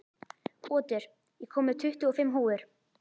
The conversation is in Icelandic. Otur, ég kom með tuttugu og fimm húfur!